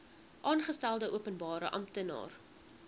aangestelde openbare amptenaar